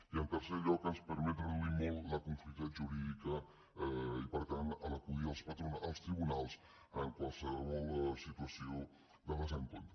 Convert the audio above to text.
i en tercer lloc ens permet reduir molt la conflictivitat jurídica i per tant acudir als tribunals en qualsevol situació de desacord